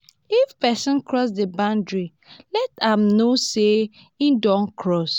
if person cross di boundry let am know sey im don cross